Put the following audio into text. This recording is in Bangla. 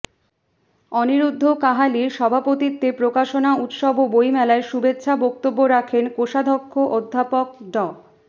অনিরুদ্ধ কাহালির সভাপতিত্বে প্রকাশনা উৎসব ও বইমেলায় শুভেচ্ছা বক্তব্য রাখেন কোষাধ্যক্ষ অধ্যাপক ড